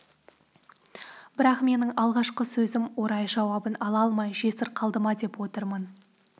бірақ менің алғашқы сөзім орай жауабын ала алмай жесір қалды ма деп отырмын